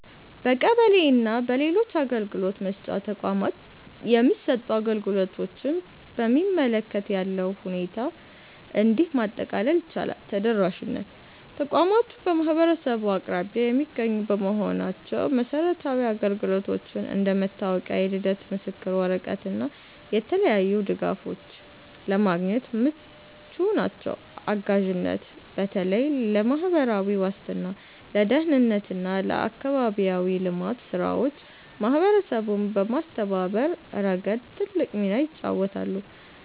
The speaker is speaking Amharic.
በቀበሌ እና በሌሎች የአገልግሎት መስጫ ተቋማት የሚሰጡ አገልግሎቶችን በሚመለከት ያለውን ሁኔታ እንዲህ ማጠቃለል ይቻላል፦ ተደራሽነት፦ ተቋማቱ በማህበረሰቡ አቅራቢያ የሚገኙ በመሆናቸው መሰረታዊ አገልግሎቶችን (እንደ መታወቂያ፣ የልደት ምስክር ወረቀት እና የተለያዩ ድጋፎች) ለማግኘት ምቹ ናቸው። አጋዥነት፦ በተለይ ለማህበራዊ ዋስትና፣ ለደህንነት እና ለአካባቢያዊ ልማት ስራዎች ማህበረሰቡን በማስተባበር ረገድ ትልቅ ሚና ይጫወታሉ።